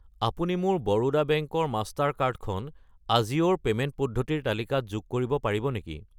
আপুনি মোৰ বৰোদা বেংক ৰ মাষ্টাৰ কাৰ্ড খন আজিও ৰ পে'মেণ্ট পদ্ধতিৰ তালিকাত যোগ কৰিব পাৰিব নেকি?